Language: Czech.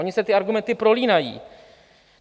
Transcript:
Ony se ty argumenty prolínají.